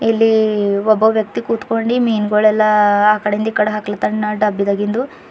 ಇಲ್ಲಿ ಒಬ್ಬ ವ್ಯಕ್ತಿ ಕುತ್ಕೊಂಡಿ ಮೀನ್ಗೊಳೆಲ್ಲ ಆ ಕಡೆಯಿಂದ ಈ ಕಡೆ ಆಕ್ಲಾತನ ಡಬ್ಬಿದಾಗಿಂದು.